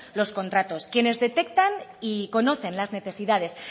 los contratos quienes detectan y conocen las necesidades